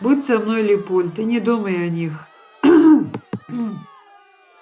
будь со мной лепольд и не думай о них